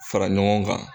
Fara ɲɔgɔn kan